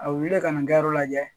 A bɛ wili ka nin kɛ yɔrɔ lajɛ